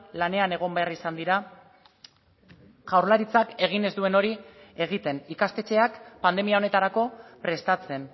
lanean egon behar izan dira jaurlaritzak egin ez duen hori egiten ikastetxeak pandemia honetarako prestatzen